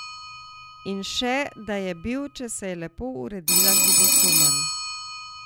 In še, da je bil, če se je lepo uredila, ljubosumen.